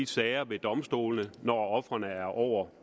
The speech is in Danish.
sagerne ved domstolene når ofrene er over